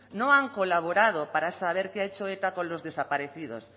no han colaborado para saber qué ha hecho eta con los desaparecidos